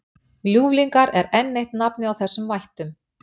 Ljúflingar er enn eitt nafn á þessum vættum.